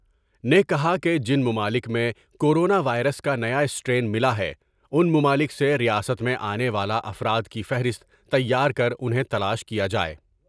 نے کہا کہ جن ممالک میں کورونا وائرس کا نیا اسٹرین ملا ہے ، ان ممالک سے ریاست میں آنے والا افراد کی فہرست تیار کر انہیں تلاش کیا جاۓ ۔